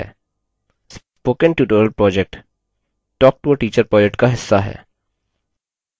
spoken tutorial project talktoateacher project का हिस्सा है